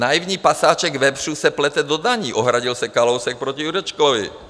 Naivní pasáček vepřů se plete do daní, ohradil se Kalousek proti Jurečkovi.